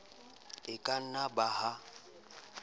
e ka na ba ha